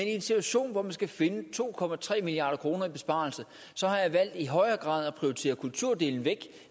en situation hvor man skal finde to milliard kroner i besparelser har jeg valgt i højere grad at prioritere kulturdelen væk